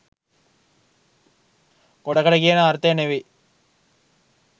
ගොඩකට කියන අර්ථය නෙවෙයි